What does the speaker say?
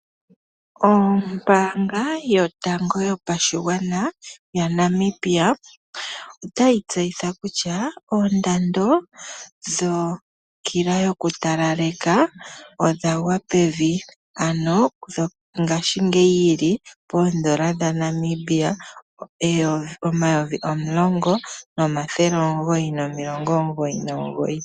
Ombaanga yotango yopashigwana yaNamibia otayi tseyitha kutya oondando dhokila yokutalaleka odha gwa pevi ano ngaashingeyi yili poondola dhaNamibia N$10999. 00.